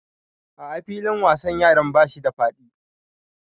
A'a filin wasan yaran bashi da faɗi